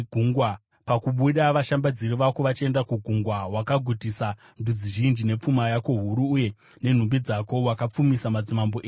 Pakabuda vashambadziri vako vachienda kugungwa, wakagutisa ndudzi zhinji, nepfuma yako huru uye nenhumbi dzako, wakapfumisa madzimambo enyika.